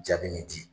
Jaabi min di